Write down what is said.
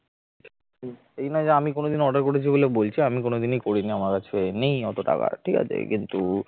এই নয় যে আমি কোনদিনও order করেছি বলে বলছি আমি কোনদিন করিনি আমার কাছে নেই অত টাকা ঠিক আছে কিন্তু